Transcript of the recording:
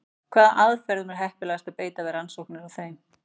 Hvaða aðferðum er heppilegast að beita við rannsóknir á þeim?